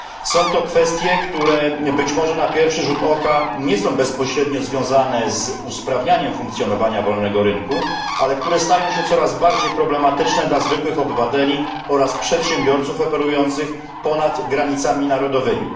Są to kwestie, które być może na pierwszy rzut oka nie są bezpośrednio związane z usprawnianiem funkcjonowania wolnego rynku, ale które stają się coraz bardziej problematyczne dla zwykłych obywateli oraz przedsiębiorców operujących ponad granicami narodowymi.